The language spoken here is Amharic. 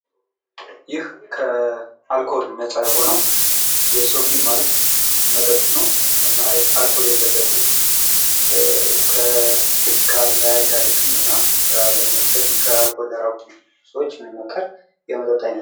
ይህ ከአልኮል ነፃ የሆነው የሶፊ ማልት መጠጥ ነው። እና አልኮል የለበትም። ከስካር አያጋልጥም። እና ከአልኮል የራቁ ሰዎች የማመከር የመጠጥ አይነት ነው።